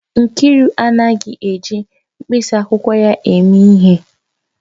Nkiru anaghị eji mkpịsị akwụkwọ ya eme ihe